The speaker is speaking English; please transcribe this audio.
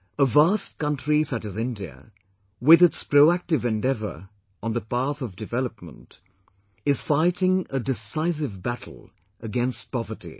A vast country such as India, with its proactive endeavor on the path of development is fighting a decisive battle against poverty